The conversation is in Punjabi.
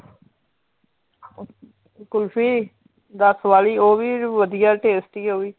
ਕੁਲਫੀ ਦੱਸ ਵਾਲੀ ਉਹ ਵੀ ਵਧੀਆ tasty ਉਹ ਵੀ